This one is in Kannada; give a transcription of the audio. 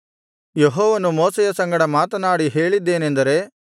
ಯೆಹೋವನು ಮೋಶೆಯ ಸಂಗಡ ಮಾತನಾಡಿ ಹೇಳಿದ್ದೇನೆಂದರೆ